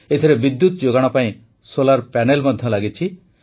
ଏଥିରେ ବିଦ୍ୟୁତ ଯୋଗାଣ ପାଇଁ ସୋଲାର୍ ପ୍ୟାନେଲ୍ ମଧ୍ୟ ଲାଗିଛି